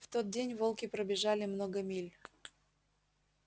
в тот день волки пробежали много миль